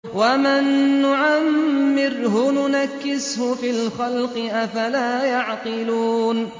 وَمَن نُّعَمِّرْهُ نُنَكِّسْهُ فِي الْخَلْقِ ۖ أَفَلَا يَعْقِلُونَ